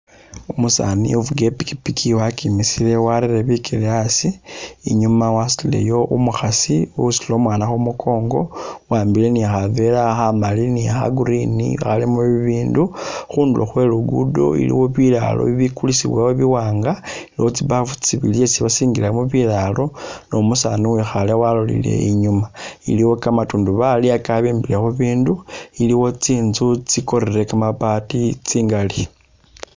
Umusani ufuka ipikipiki wakimisile warere bikele asi inyuma wasutileyo umukhasi usutile umwana khumukongo uwambile khavela khamali ni'kha green khalimu bibindu khundulo khwe'luguddo iliwo bulalo bikulisibwawo biwanga iliwo tsimbafu tsibili tsesi basingilamo bilalo numusani uwikhale walola inyuma iliwo kamantundubali kabimbile khubindu iliwo tsinzu tsikorile kamabaati tsingali